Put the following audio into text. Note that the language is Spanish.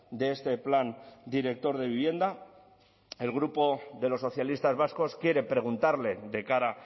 de este plan director de vivienda el grupo de los socialistas vascos quiere preguntarle de cara